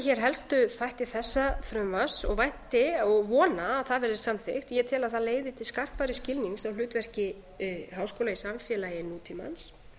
hér helstu þætti þessa frumvarps og vænti og vona að það verði samþykkt ég tel að það leiði til skarpari skilnings á hlutverki háskóla í samfélagi nútímans